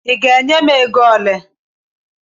Ị ga-enye m ego ole?